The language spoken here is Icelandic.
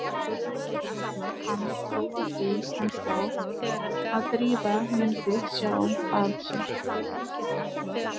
Mér heyrðist hann trúa því ennþá að Drífa mundi sjá að sér.